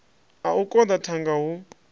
a u koḓa thanga hu